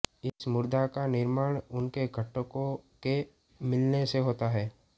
इस मृदा का निर्माण अनेक घटको के मिलने से होता है